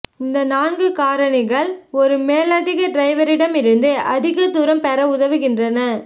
இந்த நான்கு காரணிகள் ஒரு மேலதிக டிரைவரிடமிருந்து அதிக தூரம் பெற உதவுகின்றன